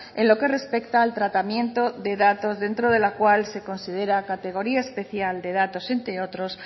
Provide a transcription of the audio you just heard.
en lo que respecta al tratamiento de datos dentro de la cual se considera categoría especial de datos entre otros